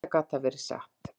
Auðvitað gat það verið satt.